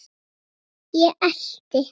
Ég elti.